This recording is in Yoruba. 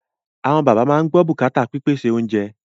Àwọn bàbá máa ń gbọ́ bùkátà pípèsè oúnjẹ